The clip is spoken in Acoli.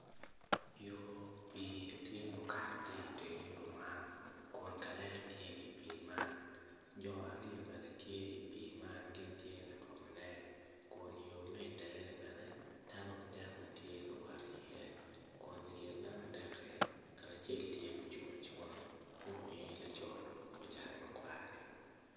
Yo pii tye mukato ki iteng yo man kun ka lele tye i pii man jo aryo bene tye i pii an gin tye ka twomone kun yo mi itengeni bene dano adek ma tye ka wot iye kun i kin dano adekki ngat acel tye mucung acunga mu eni laco muruku kor cati ma kwani